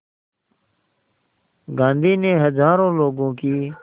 गांधी ने हज़ारों लोगों की